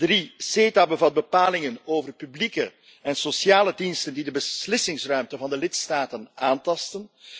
Drie, CETA bevat bepalingen over publieke en sociale diensten die de beslissingsruimte van de lidstaten aantasten.